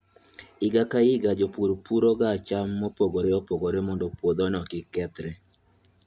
Higa ka higa, jopur puroga cham mopogore opogore mondo puodhono kik kethre.